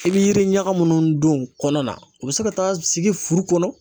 I bɛ yiri ɲaga minnu don kɔnɔ na u bɛ se ka taa sigi furu kɔnɔ